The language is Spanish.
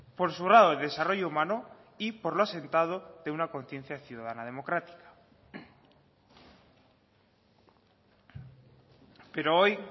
por su grado de desarrollo humano y por lo asentado de una conciencia ciudadana democrática pero hoy